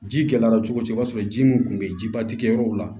Ji gɛlɛyara cogo cogo i b'a sɔrɔ ji mun kun be yen jiba ti kɛ yɔrɔw la